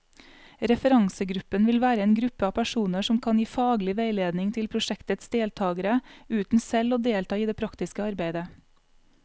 Referansegruppen vil være en gruppe av personer som kan gi faglig veiledning til prosjektets deltagere, uten selv å delta i det praktiske arbeidet.